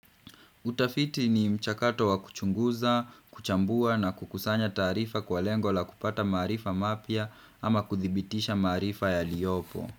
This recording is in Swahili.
Utafiti ni mchakato wa kuchunguza, kuchambua na kukusanya taarifa kwa lengo la kupata maarifa mapya ama kuthibitisha maarifa ya liyopo.